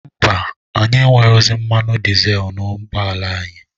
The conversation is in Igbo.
Mba, anyị enweghịzị mmanụ dịzel n'ụgbọ ala anyị.